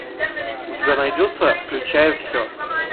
у тебя найдется включая все